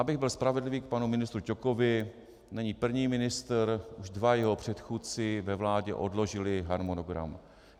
Abych byl spravedlivý k panu ministru Ťokovi, není první ministr, už dva jeho předchůdci ve vládě odložili harmonogram.